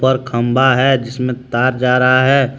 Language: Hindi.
पर खंबा है जिसमे तार जा रहा है।